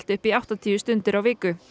upp í áttatíu stundir á viku